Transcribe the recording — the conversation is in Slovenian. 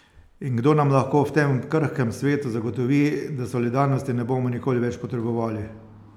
In kdo nam lahko v tem krhkem svetu zagotovi, da solidarnosti ne bomo nikoli več potrebovali?